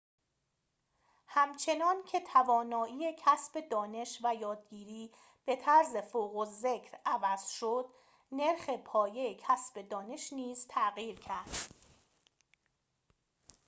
همچنان‌که توانایی کسب دانش و یادگیری به طرز فوق‌الذکر عوض شد نرخ پایه کسب دانش نیز تغییر کرد